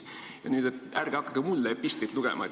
" Palun ärge hakake mulle nüüd epistlit lugema.